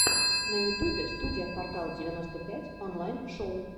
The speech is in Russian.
на ютубе студия квартал девяносто пять онлайн шоу